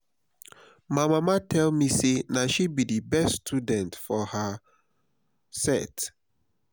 my mama tell me say na she be the best student for her set